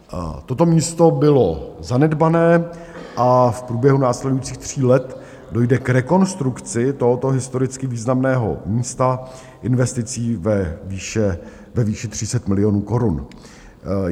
Toto místo bylo zanedbané a v průběhu následujících tří let dojde k rekonstrukci tohoto historicky významného místa investicí ve výši 30 milionů korun.